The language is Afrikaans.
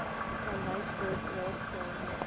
vanwyksdorp raadsaal meubels